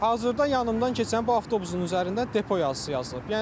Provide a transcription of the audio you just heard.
Hazırda yanımdan keçən bu avtobusun üzərində depo yazısı yazılıb.